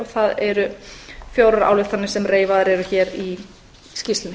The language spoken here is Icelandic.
og það eru fjórar ályktanir sem reifaðar eru hér í skýrslunni